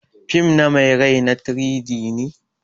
Fim na mai rai na 3-D ne.